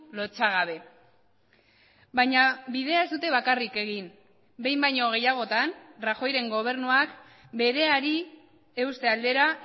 lotsagabe baina bidea ez dute bakarrik egin behin baino gehiagotan rajoyren gobernuak bereari euste aldera